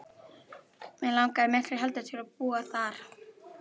Mig langaði miklu heldur til að búa þar.